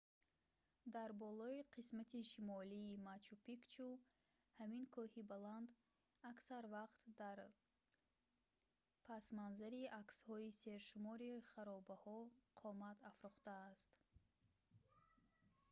дар болои қисмати шимолии мачу-пикчу ҳамин кӯҳи баланд аксар вақт дар пасманзари аксҳои сершумори харобаҳо қомат афрохтааст